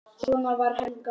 Svona var Helga.